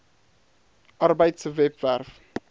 arbeid se webwerf